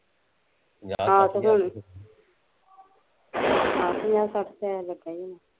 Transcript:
ਆਹ ਪੰਜਾਹ ਸੱਠ ਹਜ਼ਾਰ ਲੱਗਿਆ ਹੁਣਾ